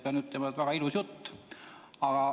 Pean ütlema, et väga ilus jutt.